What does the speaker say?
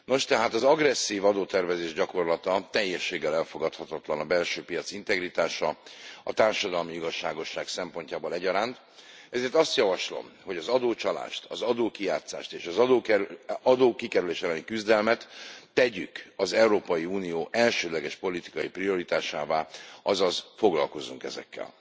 Nos tehát az agresszív adótervezés gyakorlata teljességgel elfogadhatatlan a belső piac integritása, a társadalmi igazságosság szempontjából egyaránt, ezért azt javaslom, hogy az adócsalást, az adókijátszás, és az adókikerülés elleni küzdelmet tegyük az Európai Unió elsődleges politikai prioritásává, azaz foglalkozzunk ezekkel.